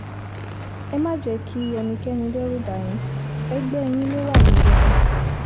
ẹ má ṣe jẹ́ kí ẹnikẹ́ni dẹ́rùbà yín ẹgbẹ́ yín lọ wà níjọba